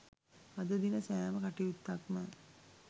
අද දින සෑම කටයුත්තක්ම